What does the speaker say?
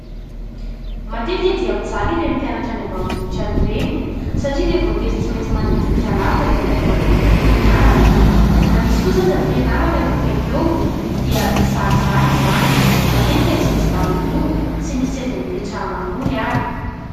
Matetika dia mijaly ireny mpianatra any ambanivohitra any ireny satria dia voatery tsy maintsy mandeha tongotra lavitra vao tonga any amin'ny toeram-pianarana ; na misy kosa aza fianarana eo akaiky eo dia zarizary izany, matetika tsy misy dabilio, tsy misy seza hipetrahana akory ary.